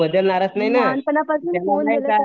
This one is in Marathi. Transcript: तो बदलणारच नाही ना